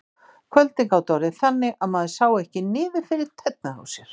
Kvöldin gátu orðið þannig að maður sá ekki niður fyrir tærnar á sér.